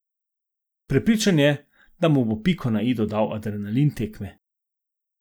Prepričan je, da mu bo piko na i dodal adrenalin tekme.